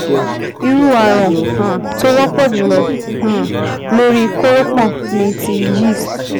Irú ààrun um tó wọ́pọ̀ jùlọ um lórí kórópọ̀n ni ti yeast